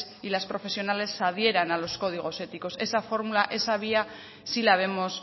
y las profesionales se adhieran a los códigos éticos esa fórmula esa vía sí la vemos